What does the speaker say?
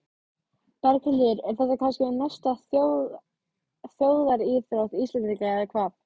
Berghildur, er þetta kannski næsta þjóðaríþrótt Íslendinga eða hvað?